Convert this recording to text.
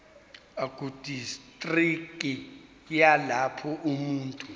ekudistriki yalapho umuntu